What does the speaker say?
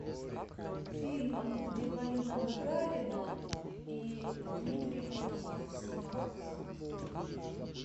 фильм где полина гагарина и дмитрий нагиев снимаются